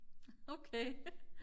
okay